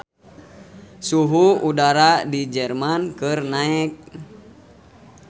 Suhu udara di Jerman keur naek